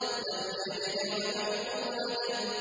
لَمْ يَلِدْ وَلَمْ يُولَدْ